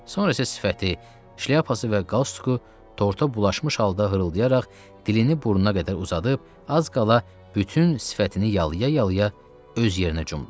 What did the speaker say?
Sonra isə sifəti, şlyapası və qalstuku torta bulaşmış halda hırıldayaraq dilini burnuna qədər uzadıb az qala bütün sifətini yalaya-yalaya öz yerinə cumdu.